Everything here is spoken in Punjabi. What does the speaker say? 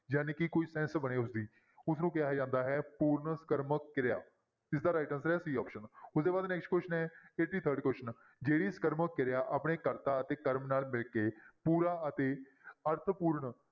ਜਾਣੀਕਿ ਕੋਈ sense ਬਣੇ ਉਸਦੀ ਉਸਨੂੰ ਕਿਹਾ ਜਾਂਦਾ ਹੈ ਪੂਰਨ ਸਕਰਮਕ ਕਿਰਿਆ, ਇਸਦਾ right answer ਹੈ c option ਉਹਦੇ ਬਾਅਦ next question ਹੈ eighty-third question ਜਿਹੜੀ ਸਕਰਮਕ ਕਿਰਿਆ ਆਪਣੇ ਕਰਤਾ ਅਤੇ ਕਰਮ ਨਾਲ ਮਿਲ ਕੇ ਪੂਰਾ ਅਤੇ ਅਰਥ ਪੂਰਨ